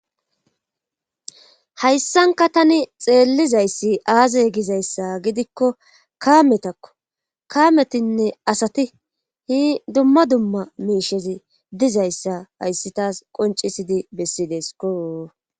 Hayssanka tani xeellizayssi aazey gizayssa gidikko kaametakko kaametinne asati hi dumma dumma miishezi dizayssa hayssi taas qoncisidi bessidesko.